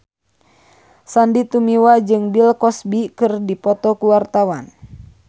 Sandy Tumiwa jeung Bill Cosby keur dipoto ku wartawan